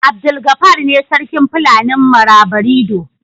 Abdulgafar ne sarkin Fulanin Marabarido.